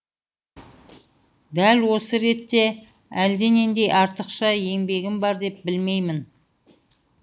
дәп осы ретте әлденендей артықша еңбегім бар деп білмеймін